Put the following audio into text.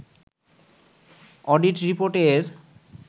audit রিপোর্টে এর